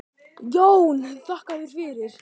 JÓN: Þakka þér fyrir!